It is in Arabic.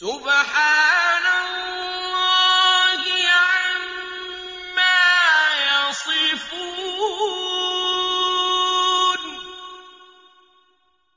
سُبْحَانَ اللَّهِ عَمَّا يَصِفُونَ